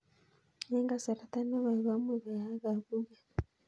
Eng' kasarta ne koi ko much koyaak kapuget